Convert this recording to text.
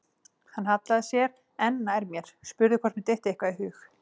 Hann hallaði sér enn nær mér, spurði hvort mér dytti eitthvað í hug.